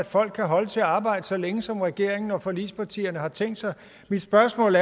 folk kan holde til at arbejde så længe som regeringen og forligspartierne har tænkt sig mit spørgsmål